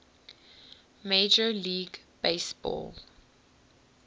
major league baseball